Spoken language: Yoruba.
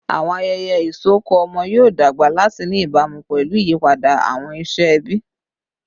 Awọn ayẹyẹ isọkọ ọmọ yoo dagba lati ni ibamu pẹlu iyipada awọn iṣẹ ẹbi